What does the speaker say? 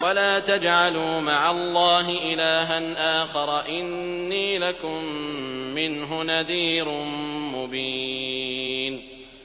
وَلَا تَجْعَلُوا مَعَ اللَّهِ إِلَٰهًا آخَرَ ۖ إِنِّي لَكُم مِّنْهُ نَذِيرٌ مُّبِينٌ